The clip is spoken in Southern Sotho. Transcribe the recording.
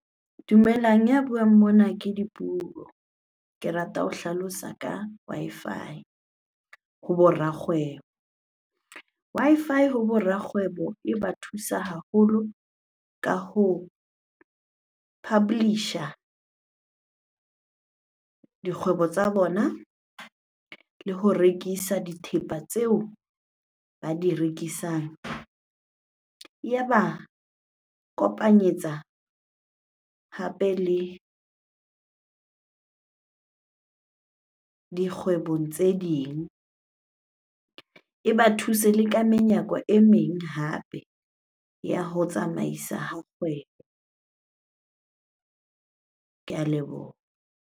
Dumelang, ya buang mona ke Dipuo. Ke rata ho hlalosa ka Wi-Fi hobo rakgwebo. Wi-Fi hobo rakgwebo e ba thusa haholo ka ho publish-a dikgwebo tsa bona le ho rekisa dithepa tseo ba di rekisang. Ya ba kopanyetsa hape le dikgwebong tse ding, e ba thuse le ka menyako e meng hape ya ho tsamaisa ha kgwebo. Ke a leboha.